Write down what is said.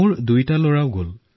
দুয়োজন লৰা পৰীক্ষা কৰিবলৈ গল